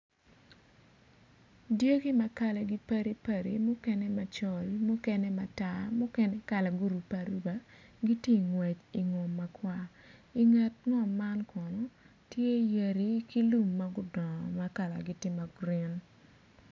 Dyegi ma kalagi padi padi mukene macol mukene matar mukene kalagi orubbe aruba giti ngwec i ngom makwar i nget ngom man kono tye yadi ki lum ma gudongo ma kalagi tye ma grin.